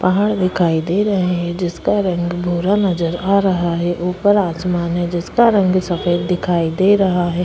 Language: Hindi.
पहाड़ दिखाई दे रहे है जिसका रंग भूरा नज़र आ रहा है ऊपर आसमान है जिसका रंग सफ़ेद दिखाई दे रहा है।